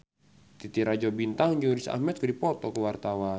Titi Rajo Bintang jeung Riz Ahmed keur dipoto ku wartawan